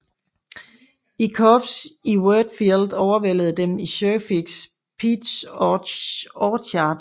Korps i Wheatfield og overvældede dem i Sherfys Peach Orchard